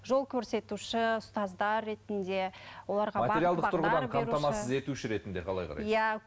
жол көрсетуші ұстаздар ретінде оларға қамтамасыз етуші ретінде қалай қарайсыз иә